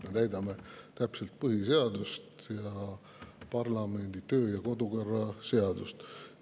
Me täidame täpselt põhiseadust ja parlamendi kodu- ja töökorra seadust.